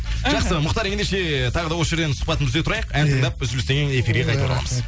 жақсы мұхтар ендеше тағы да осы жерден сұхбатымызды үзе тұрайық ән тыңдап үзілістен кейін эфирге қайта ораламыз